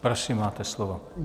Prosím, máte slovo.